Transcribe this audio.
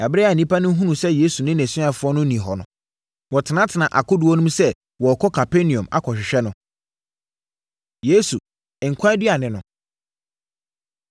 Ɛberɛ a nnipa no hunuu sɛ Yesu ne nʼasuafoɔ no nni hɔ no, wɔtenatenaa akodoɔ no mu sɛ wɔrekɔ Kapernaum akɔhwehwɛ no. Yesu, Nkwa Aduane No